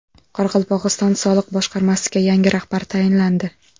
Qoraqalpog‘iston soliq boshqarmasiga yangi rahbar tayinlandi.